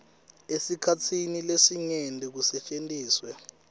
esikhatsini lesinyenti kusetjentiswe